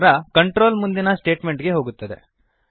ನಂತರ ಕಂಟ್ರೋಲ್ ಮುಂದಿನ ಸ್ಟೇಟ್ಮೆಂಟ್ ಗೆ ಹೋಗುತ್ತದೆ